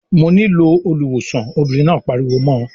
"Mo nílò olùwòsàn" Obìnrin náà pariwo mọ́ ọ.